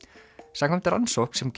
samkvæmt rannsókn sem